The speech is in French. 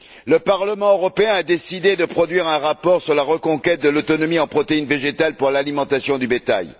Le Parlement européen a décidé de produire un rapport sur la reconquête de l'autonomie en protéines végétales pour l'alimentation du bétail.